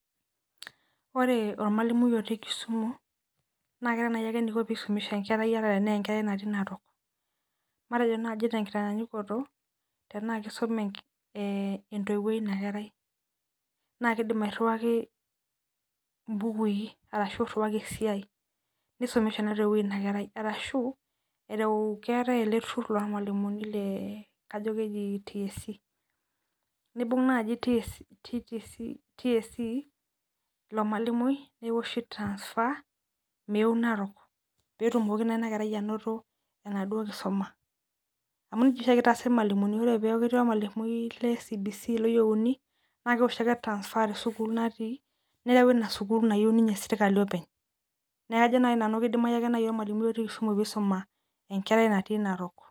Ore ormalimui otii kisumu nabkeeta naiake eniko pisum enkerai ata enatii narok matejo naji tenkitanyanyukoto tanaa kisume enkerai e entoiwoi inakerai na kidim airiwaki mbukui ashu iriwaki esiai nisumisha na inakerai arashu ereu keetae eletur lormalimuni oji tsc nibunga tsc ormalimui neoshi transfer meeu narok petumoki enaduo kerai ainoto enaduo kisuma amu nejia oshiake itaasi irmalimuni nakeoshi ake transfer tewoi natii neyai inasukul nayieu ninye serkali openy neaku ajo ake nanu kidimai ormalimui otii kisumu peisum enkerai natii narok.